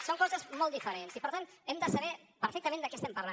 són coses molt diferents i per tant hem de saber perfectament de què estem parlant